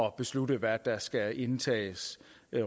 at beslutte hvad der skal indtages